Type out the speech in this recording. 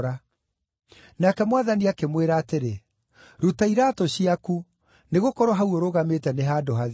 “Nake Mwathani akĩmwĩra atĩrĩ, ‘Ruta iraatũ ciaku, nĩgũkorwo hau ũrũgamĩte nĩ handũ hatheru.